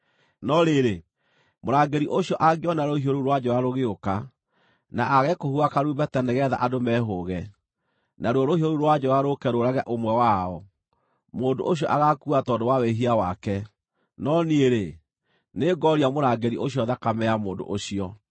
No rĩrĩ, mũrangĩri ũcio angĩona rũhiũ rũu rwa njora rũgĩũka, na aage kũhuha karumbeta nĩgeetha andũ mehũũge, naruo rũhiũ rũu rwa njora rũũke rũũrage ũmwe wao, mũndũ ũcio agaakua tondũ wa wĩhia wake, no niĩ-rĩ, nĩngooria mũrangĩri ũcio thakame ya mũndũ ũcio.’